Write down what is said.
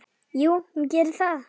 Jú, hún gerir það.